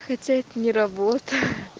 хотя это не работа